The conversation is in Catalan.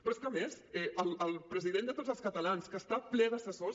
però és que a més el president de tots els catalans que està ple d’assessors